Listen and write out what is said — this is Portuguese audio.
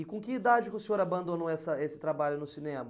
E com que idade que o senhor abandonou essa esse trabalho no cinema?